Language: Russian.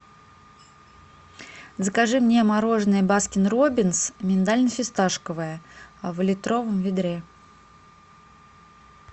закажи мне мороженое баскин роббинс миндально фисташковое в литровом ведре